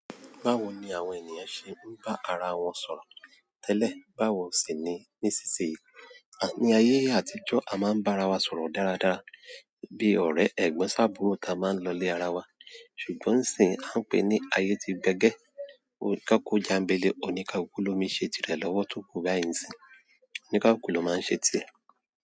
Báwo ni àwọn ènìyàn ṣe ń bá ara wọn sọ̀rọ̀ tẹ́lẹ̀ báwo sì ni ní ìsinsìnyí? Ní ayé àtijọ́, a máa ń bá ara wa sọ̀rọ̀ dáradára bí ọ̀rẹ́ ẹ̀gbọ́n sábùúró ta máa ń lọlé ara wa. Ṣùgbọ́n sì ń pè é ní ayé ti gbẹ́gẹ́, koko jàńbẹlẹ̀ oníkákú lómi ṣe tirẹ̀ lọ́wọ́ tó kù báyìí ni, oníkákú ló máa ń ṣe tirẹ̀.